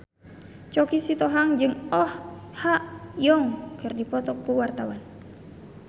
Choky Sitohang jeung Oh Ha Young keur dipoto ku wartawan